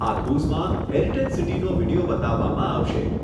આ ક્રુઝમાં હેરિટેજ સિટીનો વીડિયો બતાવવામાં આવશે.